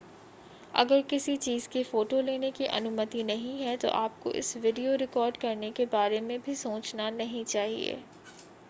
अगर किसी चीज़ की फ़ोटो लेने की अनुमति नहीं है तो आपको इसका वीडियो रिकॉर्ड करने के बारे में सोचना भी नहीं चाहिए